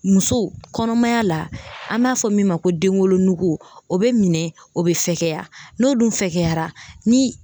Muso kɔnɔmaya la an b'a fɔ min ma ko denwolonugu o bɛ minɛ o bɛ fɛgɛya n'o dun fɛgɛyara ni